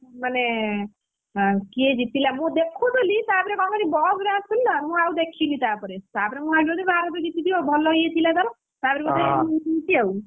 ମାନେ କିଏ ଜିତିଲା ମୁଁ ଦେଖୁଥିଲି ତାପରେ କଣ କଲି ବସ ରେ ଆସୁଥିଲି ନା ମୁଁ ଆଉ ଦେଖିନି ତାପରେ, ତାପରେ ମୁଁ ଭାବିଲି ବୋଧେ ଭାରତ ଜିତିଥିବ ଭଲ ଇଏ ଥିଲା ତାର ତାପରେ ମୁଁ ଶୁଣୁଛି ଆଉ,